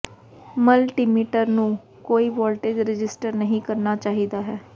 multimeter ਨੂੰ ਕੋਈ voltage register ਨਹੀਂ ਕਰਨਾ ਚਾਹੀਦਾ ਹੈ